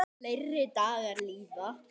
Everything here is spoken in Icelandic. Fleiri dagar líða.